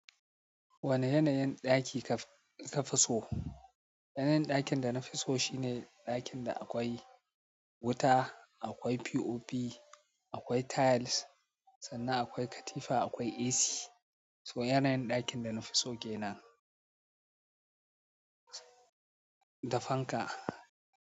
Wanne yanayin ɗaki kafi so? Yanayin ɗakin da na fi so shine ɗakin da akwai wuta, akwai POP, akwai tiles, sannan akwai katifa, akwai AC. So yanayin ɗakin da na fi so ke nan. Dafanka.